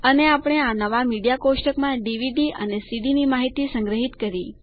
અને આપણે આ નવા મીડિયા કોષ્ટકમાં ડીવીડી અને સીડીની માહિતી સંગ્રહિત કરી